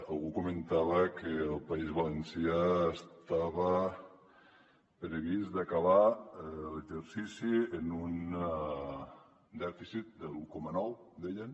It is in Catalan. algú comentava que al país valencià estava previst d’acabar l’exercici en un dèficit de l’un coma nou deien